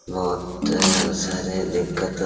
बहुत सारे दिक्कते --